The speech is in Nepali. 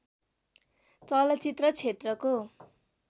चलचित्र क्षेत्रको